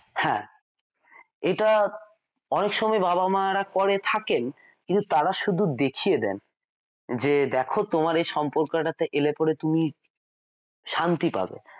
হ্যাঁ এটা অনেক সময়ে বাবা মা রা করে থাকেন কিন্তু তারা শুধু দেখিয়ে দেন যে দেখো তোমার এই সম্পর্কটা তে এলেপরে তুমি শান্তি পাবে।